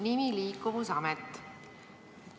Nimi Liikuvusamet.